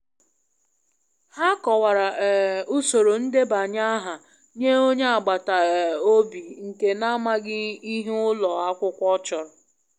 Ha kọwara um usoro ndebanye aha nye onye agbata um obi nke n'amaghị ihe ụlọ akwụkwọ chọrọ.